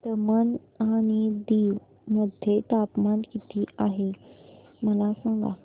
दमण आणि दीव मध्ये तापमान किती आहे मला सांगा